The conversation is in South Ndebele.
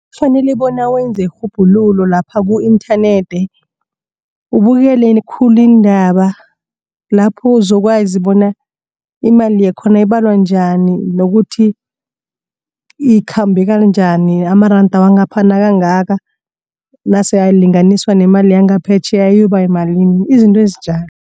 Kufanele bona wenze irhubhululo lapha ku-internet. Ubukele khulu iindaba lapho uzokwazi bona imali yakhona ibalwa njani nokuthi ikhambeka njani amaranda wangapha nakangaka nase alinganiswa nemali yangaphetjheya ayobayimalini izinto ezinjalo.